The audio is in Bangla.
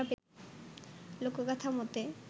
লোকোগাথা মতে